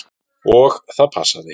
Og það passaði.